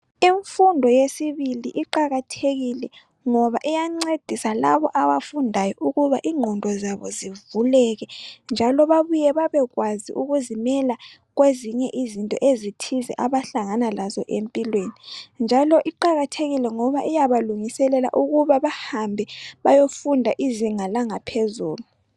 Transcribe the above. Imfundo yesibili iqakathekile ngoba iyancedisa labo abafundayo ukuba ingqondo zabo zivuleke njalo babuye babekwazi ukuzimela kwezinye izinto ezithize abahlangana lazo empilweni njalo iqakathekile ngoba iyabalungiselela ukuba bahambe bayofunda izinga langaphezulu.